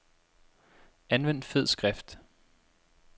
Anvend fed skrift.